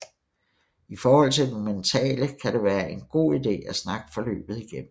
I forhold til det mentale kan det være en god ide at snakke forløbet igennem